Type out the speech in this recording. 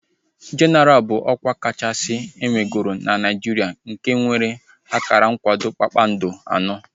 Jenaral bụ ọkwa kachasị enwegoro na Naijiria nke nwere akara nkwado kpakpando anọ